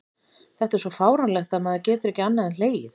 Þetta er svo fáránlegt að maður getur ekki annað en hlegið.